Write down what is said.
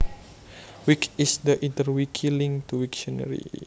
Wikt is the interwiki link to Wiktionary